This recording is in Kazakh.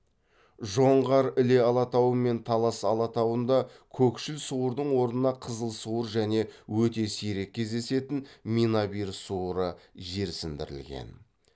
жоңғар іле алатауы мен талас алатауында көкшіл суырдың орнына қызыл суыр және өте сирек кездесетін менабир суыры жерсіндірілген